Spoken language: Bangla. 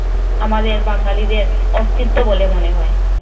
আমাদের বাঙালিদের অস্তিত্ব বলে মনে হয়